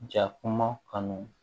Ja kuma kanu